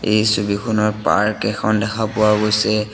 এই ছবিখনত পাৰ্ক এখন দেখা পোৱা গৈছে।